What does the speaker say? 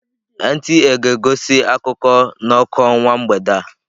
NTA ga-egosi akụkọ n'ọkụ ọnwa mgbede a.